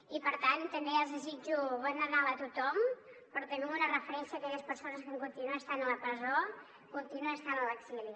i per tant també els desitjo bon nadal a tothom però també amb una referència a aquelles persones que continuen estant a la presó continuen estant a l’exili